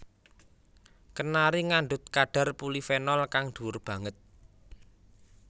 Kenari ngandhut kadhar polifenol kang dhuwur banget